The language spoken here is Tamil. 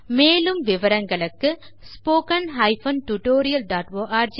மேலும் விவரங்களுக்கு httpspoken tutorialorgNMEICT Intro மூலப்பாடம் இட் போர் சாங்கே பங்களூரு